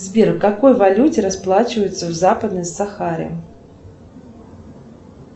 сбер в какой валюте расплачиваются в западной сахаре